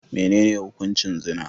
Menene hukuncin zina?